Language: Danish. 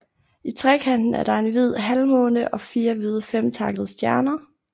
I trekanten er der en hvid halvmåne og fire hvide femtakkede stjerner